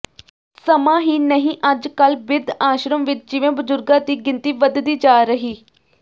ਸਮਾਂ ਹੀ ਨਹੀਂ ਅੱਜ ਕਲ ਬਿਰਧ ਆਸ਼ਰਮ ਵਿਚ ਜਿਵੇਂ ਬਜ਼ੁਰਗਾਂ ਦੀ ਗਿਣਤੀ ਵਧਦੀ ਜਾ ਰਹੀ